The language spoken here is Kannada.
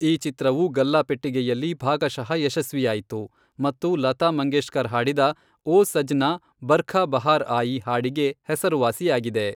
ಈ ಚಿತ್ರವು ಗಲ್ಲಾಪೆಟ್ಟಿಗೆಯಲ್ಲಿ ಭಾಗಶಃ ಯಶಸ್ವಿಯಾಯಿತು ಮತ್ತು ಲತಾ ಮಂಗೇಶ್ಕರ್ ಹಾಡಿದ "ಓ ಸಜ್ನಾ ಬರ್ಖಾ ಬಹಾರ್ ಆಯಿ" ಹಾಡಿಗೆ ಹೆಸರುವಾಸಿಯಾಗಿದೆ.